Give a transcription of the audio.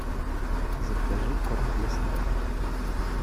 закажи корм для собаки